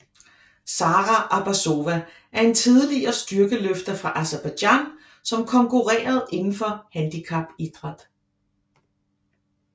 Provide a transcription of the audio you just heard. Sara Abbazova er en tidligere styrkeløfter fra Aserbajdsjan som konkurrerede indenfor handicapidræt